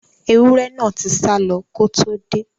Ẹwúrẹ́ náà tí sálọ ko tó dé.